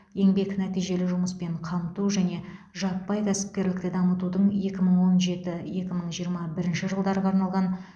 еңбек нәтижелі жұмыспен қамту және жаппай кәсіпкерлікті дамытудың екі мың он жеті екі мың жиырма бірінші жылдарға арналған